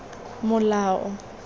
molao